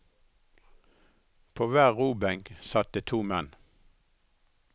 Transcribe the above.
På hver robenk satt det to menn.